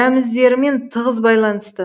рәміздерімен тығыз байланысты